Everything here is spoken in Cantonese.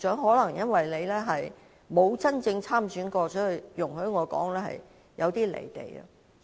可能由於局長從未真正參選，所以——容許我這樣說——他有點"離地"。